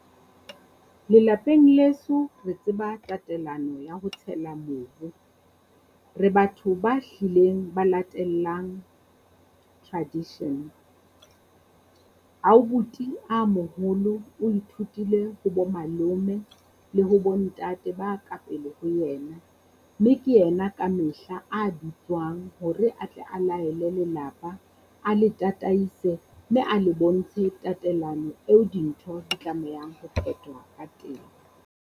Lelapeng leso re tseba tatelano ya ho tshela mobu, re batho ba hlileng ba latellang tradition. Ouboet-i a moholo o ithutile ho bo malome le ho bo ntate ba kapele ho ena, mme ke ena ka mehla a bitswang hore a tle a laele lelapa, a le tataise mme a le bontshe tatelano eo dintho di tlamehang ho phetwa ka teng.